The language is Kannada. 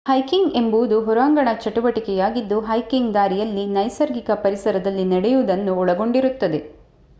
ಹೈಕಿಂಗ್ ಎಂಬುದು ಹೊರಾಂಗಣ ಚಟುವಟಿಕೆಯಾಗಿದ್ದು ಹೈಕಿಂಗ್ ದಾರಿಯಲ್ಲಿ ನೈಸರ್ಗಿಕ ಪರಿಸರದಲ್ಲಿ ನಡೆಯುವುದನ್ನು ಒಳಗೊಂಡಿರುತ್ತದೆ